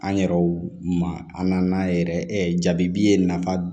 An yɛrɛw ma an nan'a yɛrɛ jabi ye nafa